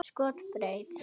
Skot: Breið.